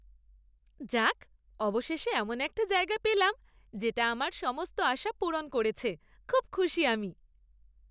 যাক, অবশেষে এমন একটা জায়গা পেলাম যেটা আমার সমস্ত আশা পূরণ করেছে, খুব খুশি আমি।